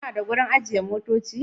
Kuna da wurin ajiye motoci?